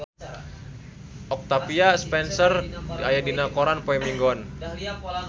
Octavia Spencer aya dina koran poe Minggon